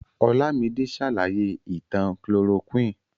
Olámidé ṣàlàyé ìtàn chloroquine.